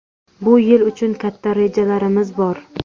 Bu yil uchun katta rejalarimiz bor.